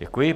Děkuji.